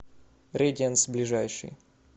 рэдианс ближайший